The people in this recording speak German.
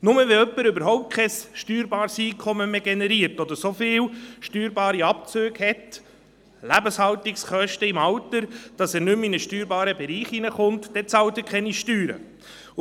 Nur dann, wenn jemand überhaupt kein steuerbares Einkommen mehr generiert oder so viel steuerbare Abzüge hat – Lebenshaltungskosten im Alter –, dass er nicht mehr in einen steuerbaren Bereich kommt, zahlt er keine Steuern mehr.